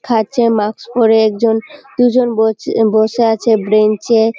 খাচ্চে mask পরে একজন দুজন বচে বসে আছে বেঞ্চ -এ --